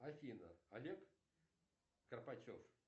афина олег карпачев